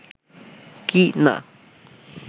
কি না